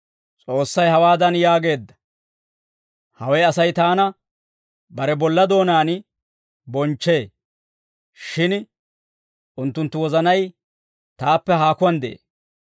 « ‹S'oossay hawaadan yaageedda; «Hawe Asay taana, bare bolla doonaan bonchchee; shin unttunttu wozanay, taappe haakuwaan de'ee.